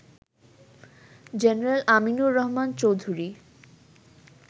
general Aminur Rahman Chowdhury